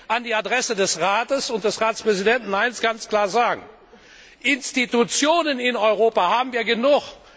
Ich will an die Adresse des Rates und des Ratspräsidenten ganz klar sagen Institutionen in Europa haben wir genug.